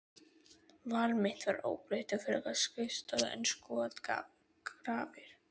Val mitt var óbreytt, frekar skrifstofu en skotgrafir.